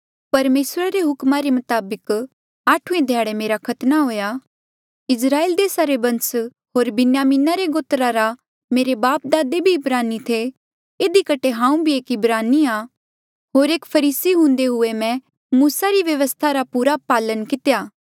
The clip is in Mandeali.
परमेसरा रे हुकमा रे मताबक आठुऐ ध्याड़े मेरा खतना हुआ इस्राएल देसा रे बंस होर बिन्यामिना रे गोत्रा रा आ मेरे बापदादे भी इब्रानी थे इधी कठे हांऊ भी एक इब्रानी आ होर एक फरीसी हुंदे हुए मै मूसा री व्यवस्था पूरा पालन कितिरा